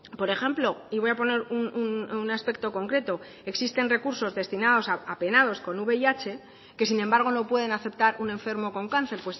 por ejemplo y voy a poner un aspecto concreto existen recursos destinados a penados con vih que sin embargo no pueden aceptar un enfermo con cáncer